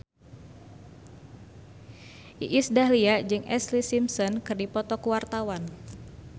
Iis Dahlia jeung Ashlee Simpson keur dipoto ku wartawan